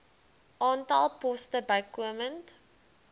aantal poste bykomend